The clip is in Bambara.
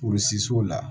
O sisiw la